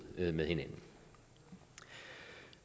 med hinanden